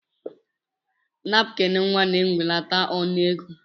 Napkin nwa na ewelata ọnụ ego.